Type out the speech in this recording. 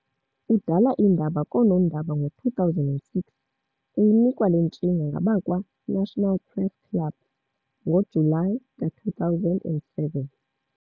Udala iindaba koonondaba ngo-2006, uyinikwa le ntshinga ngabakwa-National press club ngoJuly ka-2007.